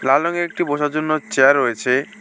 লাল রঙের একটি বসার জন্য চেয়ার রয়েছে।